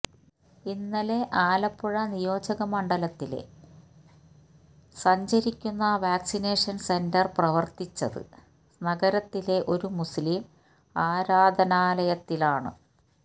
ഇന്നലെ ആലപ്പുഴ നിയോജകമണ്ഡലത്തിലെ സഞ്ചരിക്കുന്ന വാക്സിനേഷന് സെന്റര് പ്രവര്ത്തിച്ചത് നഗരത്തിലെ ഒരു മുസ്ലീം ആരാധനാലയത്തിലാണ്